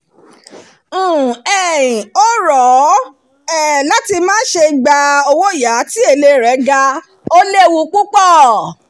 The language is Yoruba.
"n um ò rọ̀ um ọ́ láti má ṣe gba owóyàá tí èlé rẹ̀ ga ó léwu púpọ̀"